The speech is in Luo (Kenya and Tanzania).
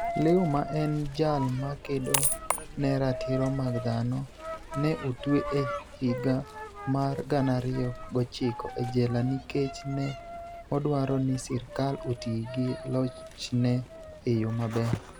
Liu, ma eni jal ma kedo ni e ratiro mag dhano, ni e otwe e higa mar 2009 e jela niikech ni e odwaro nii sirkal oti gi lochni e e yo maber.